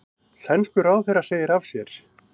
Sænskur ráðherra segir af sér